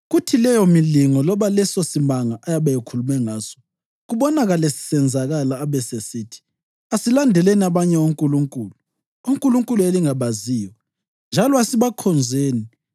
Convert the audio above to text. kuthi leyomilingo loba lesosimanga ayabe ekhulume ngaso, kubonakale kusenzakala, abesesithi, ‘Asilandeleni abanye onkulunkulu’ (onkulunkulu elingabaziyo) ‘njalo asibakhonzeni,’